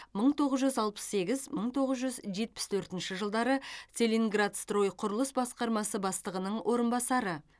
мың тоғыз жүз алпыс сегіз мың тоғыз жүз жетпіс төртінші жылдары целингидрострой құрылыс басқармасы бастығының орынбасары